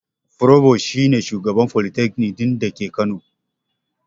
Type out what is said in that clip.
Furobos shi ne shugaba a folitakanik ɗin da ke kano